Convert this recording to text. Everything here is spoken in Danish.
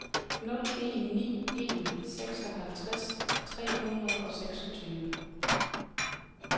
nul en ni en seksoghalvtreds tre hundrede og seksogtyve